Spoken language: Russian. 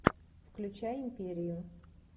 включай империю